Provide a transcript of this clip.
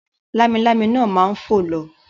Lámilámi náà ma fò lọ.